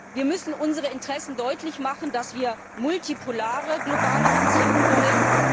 Wir müssen unsere Interessen deutlich machen, dass wir multipolare globale Beziehungen wollen.